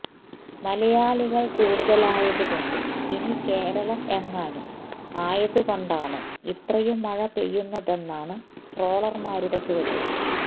മലയാളികൾ കൂടുതലായതു കൊണ്ട് ഇനി കേരളം എങ്ങാനും ആയതു കൊണ്ടാണോ ഇത്രയും മഴ പെയ്യുന്നതെന്നാണ് ട്രോളർമാരുടെ ചോദ്യം